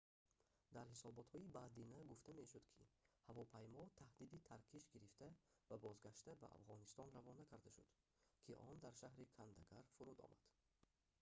дар ҳисоботҳои баъдина гуфта мешуд ки ҳавопаймо таҳдиди таркиш гирифта ва бозгашта ба афғонистон равона карда шуд ки он дар шаҳри кандагар фуруд омад